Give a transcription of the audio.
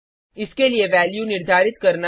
इसके लिए वैल्यू निर्धारित करना